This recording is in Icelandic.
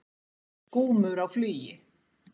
Skúmur á flugi.